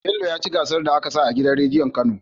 Bello yaci gasar da aka sa a gidan rediyon kano